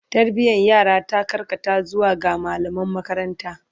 Tarbiyan yara ta karkata zuwa ga mallaman makaranta